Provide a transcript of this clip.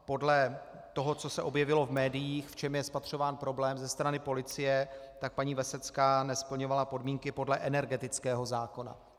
Podle toho, co se objevilo v médiích, v čem je spatřován problém ze strany policie, tak paní Vesecká nesplňovala podmínky podle energetického zákona.